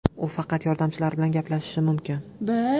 U faqat yordamchilari bilan gaplashishi mumkin.